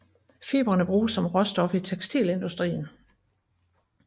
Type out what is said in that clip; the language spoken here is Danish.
Fibrene bruges som råstof i tekstilindustrien